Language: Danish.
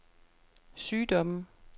sygdomme